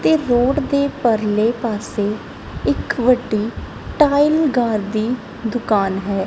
ਤੇ ਰੋਡ ਦੇ ਪਰਲੇ ਪਾਸੇ ਇੱਕ ਵੱਡੀ ਟਾਈਲ ਗਾਰ ਦੀ ਦੁਕਾਨ ਹੈ।